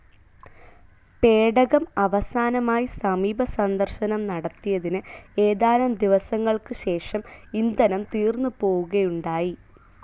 പേടകം അവസാനമായി സമീപസന്ദർശനം നടത്തിയതിന് ഏതാനും ദിവസങ്ങൾക്ക് ശേഷം ഇന്ധനം തീർന്നുപോവുകയുണ്ടായി.